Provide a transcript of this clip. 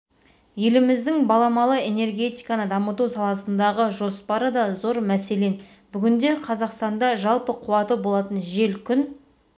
еліміздің баламалы энергетиканы дамыту саласындағы жоспары да зор мәселен бүгінде қазақстанда жалпы қуаты болатын жел күн